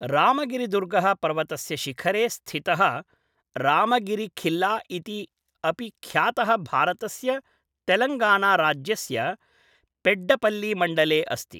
रामगिरिदुर्गः पर्वतस्य शिखरे स्थितः रामगिरीखिल्ला इति अपि ख्यातः भारतस्य तेलङ्गाना राज्यस्य पेड्डपल्लीमण्डले अस्ति।